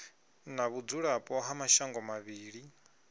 na vhudzulapo ha mashango mavhili